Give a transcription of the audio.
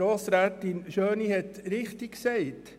Grossrätin Schöni hat es richtig gesagt: